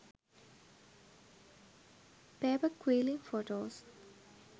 paper quilling photos